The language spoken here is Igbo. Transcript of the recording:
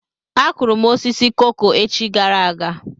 Akụrụ m osisi koko echi gara aga.